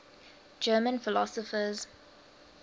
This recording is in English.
german philosophers